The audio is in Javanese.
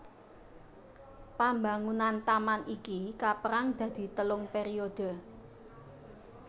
Pambangunan taman iki kapérang dadi telung pèriodhe